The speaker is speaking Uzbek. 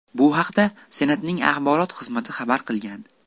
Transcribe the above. Bu haqda Senatning axborot xizmati xabar qilgan .